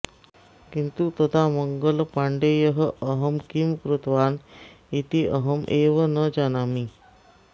किन्तु तदा मङ्गल पण्डेयः अहं किं कृतवान् इति अहमेव न जानामि